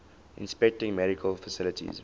inspecting medical facilities